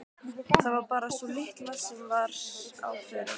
Það var bara sú litla sem var á förum.